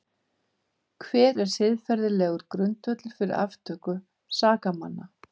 Hver er siðferðilegur grundvöllur fyrir aftöku sakamanna?